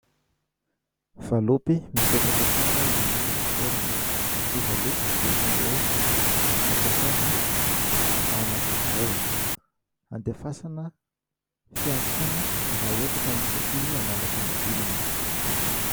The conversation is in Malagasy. valopy mipetraka tsara eny amin'ny fitoerany; ny valopy dia isan'ireo ampiasaina ao anaty birao ;andefasana fiantsoana raha ohatra ka misy ankizy hanala fanadinana